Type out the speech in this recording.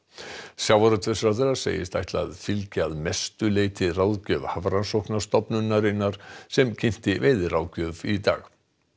sjávarútvegsráðherra segist ætla að fylgja að mestu leyti ráðgjöf Hafrannsóknastofnunar sem kynnti veiðiráðgjöf í dag